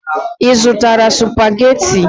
Ị zụtara supagetii?